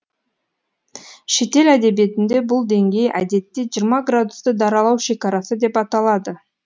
шетел әдебиетінде бұл деңгей әдетте жиырма градусты даралау шекарасы деп аталады